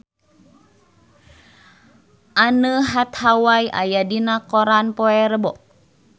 Anne Hathaway aya dina koran poe Rebo